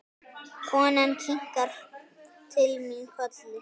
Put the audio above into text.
Konan kinkar til mín kolli.